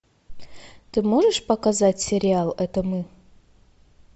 ты можешь показать сериал это мы